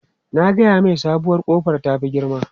Na gaya mai sabuwar kofar ta fi girma.